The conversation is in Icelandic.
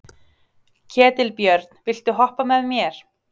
Ketilbjörn, viltu hoppa með mér?